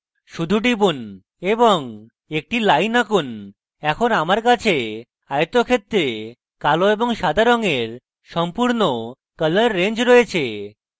শুধু টিপুন এবং একটি line আঁকুন এবং এখন আমার কাছে আয়তক্ষেত্রে কালো এবং সাদ রঙের সম্পূর্ণ colour range রয়েছে